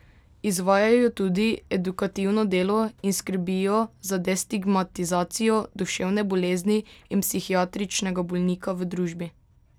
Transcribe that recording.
Izvajajo tudi edukativno delo in skrbijo za destigmatizacijo duševne bolezni in psihiatričnega bolnika v družbi.